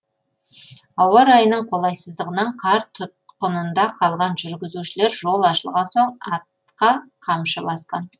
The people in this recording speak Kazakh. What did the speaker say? ауа райының қолайсыздығынан қар тұтқынында қалған жүргізушілер жол ашылған соң атқа қамшы басқан